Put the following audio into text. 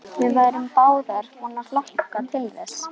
Við værum báðar búnar að hlakka til þess.